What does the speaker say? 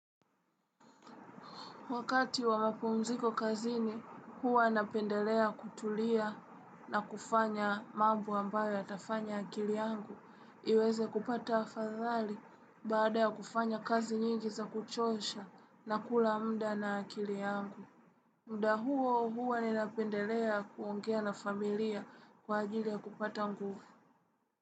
Wakati wa mapumziko kazini, huwa napendelea kutulia na kufanya mambo ambayo yatafanya akili yangu. Iweze kupata afadhali baada ya kufanya kazi nyingi za kuchosha na kula muda na akili yangu. Muda huo huwa ni napendelea kuongea na familia kwa ajili ya kupata nguvu.